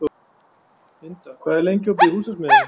Inda, hvað er lengi opið í Húsasmiðjunni?